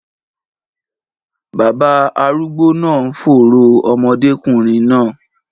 Baba arúgbó náà ń fòòró ọmọdékùnrin náà.